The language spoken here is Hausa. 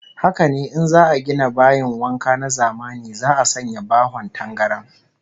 Haka ne, in za'a gina bayin wanka na zamani za'a sanya bahon tangaran